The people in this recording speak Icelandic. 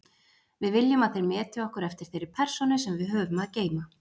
Við viljum að þeir meti okkur eftir þeirri persónu sem við höfum að geyma.